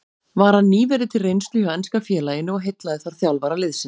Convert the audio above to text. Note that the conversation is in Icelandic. Var hann nýverið til reynslu hjá enska félaginu og heillaði þar þjálfara liðsins.